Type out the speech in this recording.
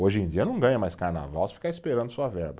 Hoje em dia não ganha mais carnaval se ficar esperando só a verba.